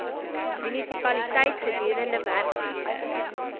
munisipaliteit gedurende werksure